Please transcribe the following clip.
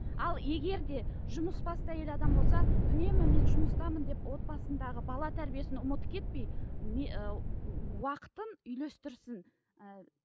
ал егер де жұмысбасты әйел адам болса үнемі мен жұмыстамын деп отбасындағы бала тәрбиесін ұмытып кетпей ы уақытын үйлестірсін ііі